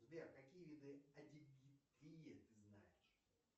сбер какие виды ты знаешь